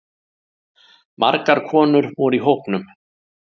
Margar konur voru í hópnum